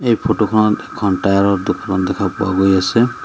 এই ফটো খনত এখন টায়াৰ ৰ দোকানো দেখা পোৱা গৈ আছে।